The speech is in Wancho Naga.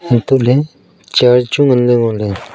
hantoh ley char chu ngan ngo ley.